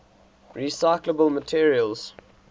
recyclable materials